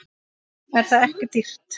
Er það ekki dýrt?